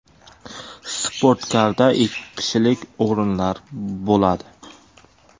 Sportkarda ikki kishilik o‘rinlar bo‘ladi.